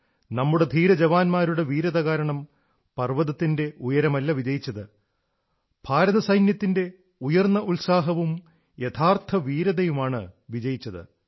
നമ്മുടെ ധീരജവാന്മാരുടെ വീര്യം കാരണം പർവ്വതത്തിന്റെ ഉയരമല്ല വിജയിച്ചത് ഭാരത സൈന്യത്തിന്റെ ഉയർന്ന ഉത്സാഹവും യഥാർഥ ധീരതയുമാണ് വിജയിച്ചത്